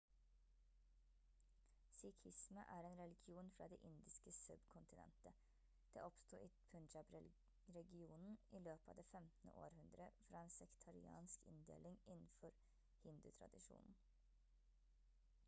sikhisme er en religion fra det indiske subkontinentet det oppsto i punjab-regionen i løpet av det 15. århundre fra en sektariansk inndeling innenfor hindutradisjonen